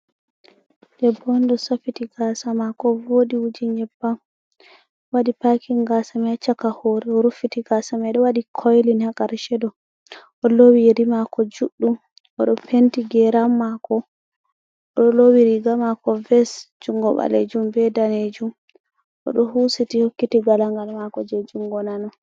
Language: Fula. Debbo on ɗo safiti gasa mako voɗi wuji nyebbam waɗi paking gasa mai chaka horre oruffiti gasa mai ɗo waɗi koylin ha karsheɗo olowi yeri mako juɗɗum oɗo penti geram mako oɗo lowi riga mako ves jungo ɓalejum be danejum oɗo husiti hokkiti galangal mako je jungo nano.